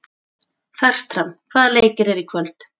Fertram, hvaða leikir eru í kvöld?